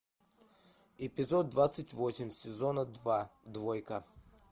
эпизод двадцать восемь сезона два двойка